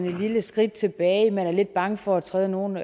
et lille skridt tilbage man er lidt bange for at træde nogle